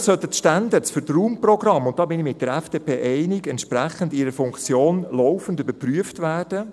Natürlich sollten die Standards für die Raumprogramme – und darin bin ich mit der FDP einig – entsprechend ihrer Funktion laufend überprüft werden.